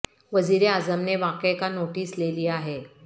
وزیر اعظم نے واقع کا نوٹس لے لیا ہے